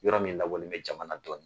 Yɔrɔ min lawalen bɛ jamana dɔ la.